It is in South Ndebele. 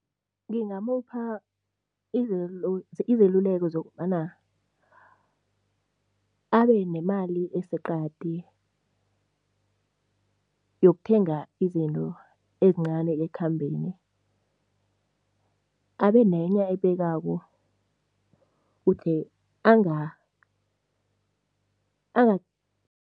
Ngingamupha izeluleko zokobana abenemali eseqadi yokuthenga izinto ezincani ekukhambeni. Abenenye ayibekako